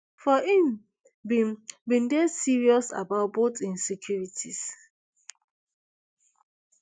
for im bin bin dey serious about both im securities